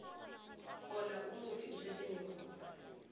khona umufi usesenegunya